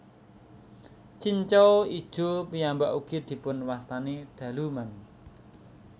Cincau ijo piyambak ugi dipun wastani daluman